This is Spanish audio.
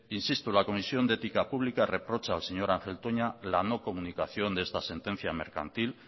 insisto la comisión de ética pública reprocha al señor ángel toña la no comunicación de esta sentencia mercantil